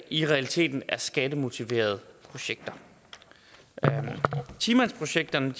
i realiteten er skattemotiverede projekter ti mandsprojekterne